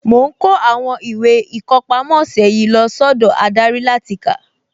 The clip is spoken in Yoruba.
Mo ń kó àwọn ìwé ìkọpámọ́ ọ̀sẹ̀ yìí lọ sọ́dọ̀ adarí láti kà